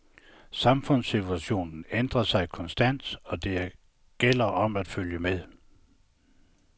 Samfundssituation ændrer sig konstant, og det gælder om at følge med.